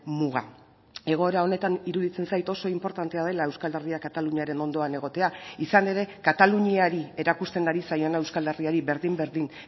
muga egoera honetan iruditzen zait oso inportantea dela euskal herria kataluniaren ondoan egotea izan ere kataluniari erakusten ari zaiona euskal herriari berdin berdin